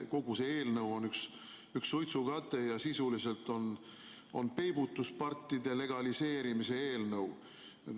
Kogu see eelnõu on üks suitsukate ja sisuliselt on see n-ö peibutuspartide legaliseerimise eelnõu.